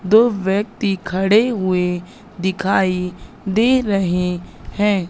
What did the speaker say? दो व्यक्ति खड़े हुए दिखाई दे रहे हैं।